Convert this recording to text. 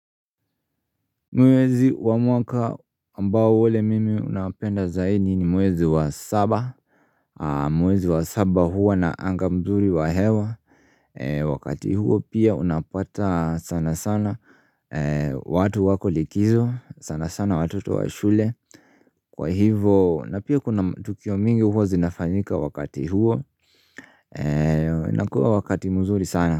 Mwezi wa mwaka ambao ole mimi unaopenda zaidi ni mwezi wa saba Mwezi wa saba huwa na anga mzuri wa hewa Wakati huo pia unapata sana sana watu wako likizo sana sana watoto wa shule Kwa hivo na pia kuna tukio mingi huwa zinafanyika wakati huo nakuwa wakati mzuri sana.